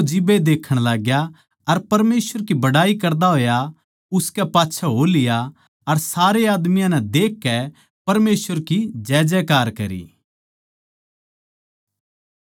फेर वो जिब्बे देखण लाग्या अर परमेसवर की बड़ाई करदा होया उसकै पाच्छै हो लिया अर सारे आदमियाँ नै देखकै परमेसवर की जैजै कार करी